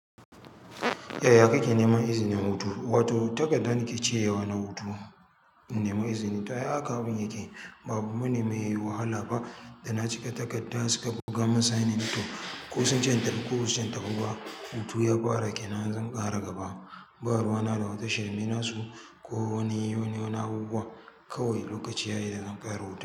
Eh ya kake neman izinin hutu, wato takardar nike cirewa na hutu in nema izini. To ai haka abin yake ba abu bane mai wahala ba da na cika takarda suka buga min signing to ko sun ce in tafi ko basu ce in tafi ba hutu ya fara kenan zan ƙara gaba. Ba ruwana da wata shirme na su ko wani, wani, wani abubuwa kawai lokaci yayi da zan karya hutu.